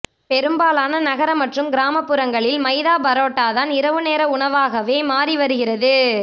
பெரும்பாலான நகர மற்றும் கிராமப்புறங்களில் மைதா பரோட்டாதான் இரவு நேர உணவாகவே மாறி வருகிறது